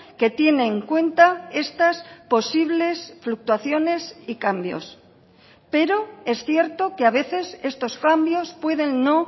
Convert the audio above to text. que tiene en cuenta estas posibles fluctuaciones y cambios pero es cierto que a veces estos cambios pueden no